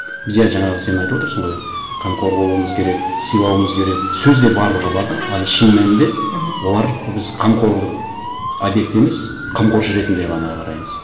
біз иә жаңағы сен айтып отырсың ғой қамқор болуымыз керек сыйлауымыз керек сөзде барлығы бар да а шын мәнінде мхм олар біз қамқорлық объекті емес қамқоршы ретінде ғана қараймыз